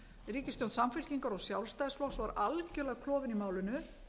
ríkisstjórn samfylkingar og sjálfstæðisflokks var algjörlega klofin í málinu